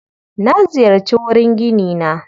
Na ziyarci wurin ginina.